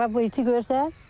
Bax bu iti görsən?